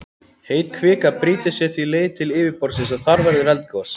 Heit kvika brýtur sér því leið til yfirborðsins og þar verður eldgos.